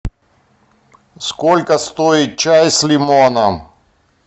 сколько стоит чай с лимоном